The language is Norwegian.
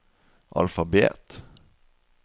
alfabet